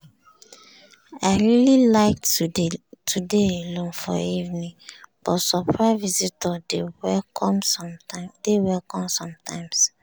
i really like to dey alone for evening but surprise visitor dey welcome sometimes.